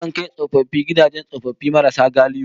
Akan kai tsofaffi gidajen tsofaffi marasa galihu